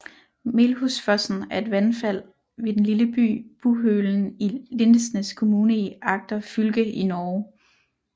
Melhusfossen er et vandfald ved den lille by Buhølen i Lindesnes kommune i Agder fylke i Norge